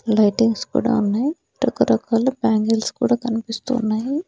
Lightings కూడా ఉన్నాయ్ రకరకాల బ్యాంగిల్స్ కూడా కనిపిస్తూ ఉన్నాయి.